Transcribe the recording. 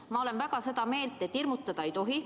Ma olen väga seda meelt, et hirmutada ei tohi.